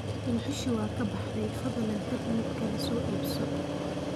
Dhuxushii waa ka baxday, fadlan tag mid kale soo iibso.